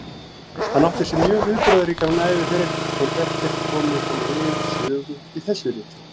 Hann átti sér mjög viðburðaríkan æviferil, þótt ekkert komi hann við sögu í þessu riti.